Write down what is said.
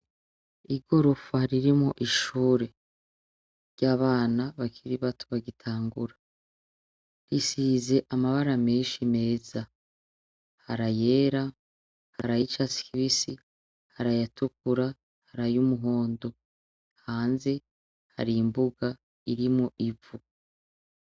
Igorofa ririmwo ishure y'abana bakiri bato bagitangura, isize amabara menshi meza. Hari ayera, hari ay'icatsi kibisi, hari ayatukura, hari ay'umuhondo. Hanze hari imbuga irimwo ivu.